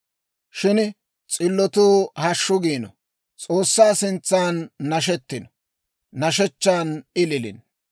Shin s'illotuu hashshu giino; S'oossaa sintsan nashetino; nashshechchan ililino.